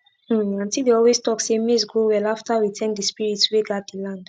um aunty dey always talk say maize grow well after we thank the spirits wey guard the land